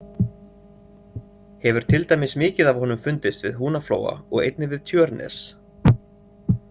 Hefur til dæmis mikið af honum fundist við Húnaflóa og einnig við Tjörnes.